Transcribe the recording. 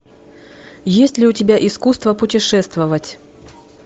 есть ли у тебя искусство путешествовать